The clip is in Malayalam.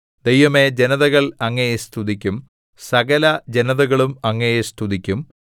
ദൈവമേ ജനതകൾ അങ്ങയെ സ്തുതിക്കും സകലജനതകളും അങ്ങയെ സ്തുതിക്കും